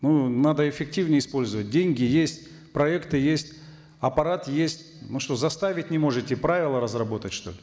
ну надо эффективнее использовать деньги есть проекты есть аппарат есть ну что заставить не можете правила разработать что ли